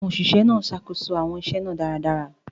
Àwọn òṣìṣẹ́ náà ṣàkóso àwọn iṣẹ́ náà dáradára.